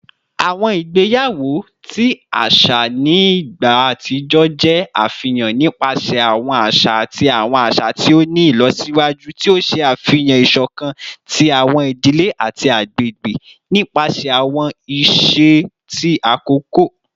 Awọn igbeyawo ti aṣa ni igba atijọ jẹ afihan nipasẹ awọn aṣa ati awọn aṣa ti o ni ilọsiwaju, ti o ṣe afihan isokan ti awọn idile ati agbegbe nipasẹ awọn iṣe ti akoko.